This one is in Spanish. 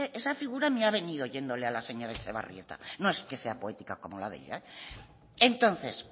esa figura me ha venido oyéndole a la señora etxebarrieta no es que sea poética como la entonces